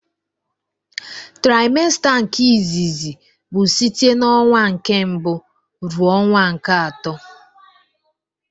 Traịmsta nke izizi bụ site n'ọnwa nke mbụ ruo ọnwa nke atọ.